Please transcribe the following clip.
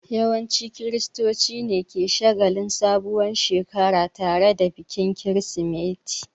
Yawancin kiristoci ne suke shagalin sabuwar Shekara tare da bikin kirismeti